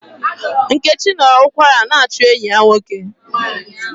Nkechi nọ ụkwara na-achụ enyi ya nwoke.